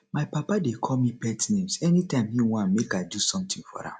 my papa dey call me pet names anytime he wan make i do something for am